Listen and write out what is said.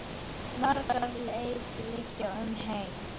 Margar leiðir liggja um heim.